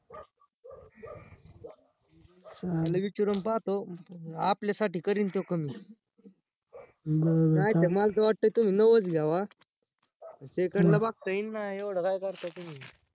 त्याला विचारून पाहतो आपल्यासाठी करिन तो कमी नायतर मला तर वाटतं नवाचं घ्यावा second ला बगता येईन ना, येवड काय करताय तुम्ही?